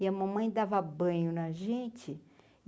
E a mamãe dava banho na gente.